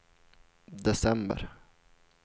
december